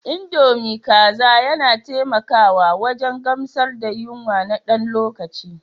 Indomie kaza yana taimakawa wajen gamsar da yunwa na ɗan lokaci.